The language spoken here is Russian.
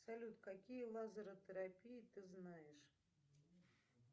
салют какие лазеротерапии ты знаешь